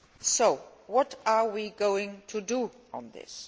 So what are we going to do about this?